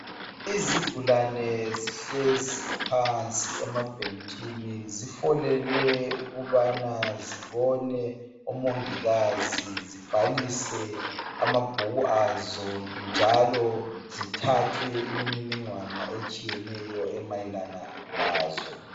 Izigulane zihlezi phansi emabhentshini zifolele ukubana zibone omongikazi zibhalise amabhuku azo njalo zithathwe imininingwane etshiyeneyo emayelana lazo.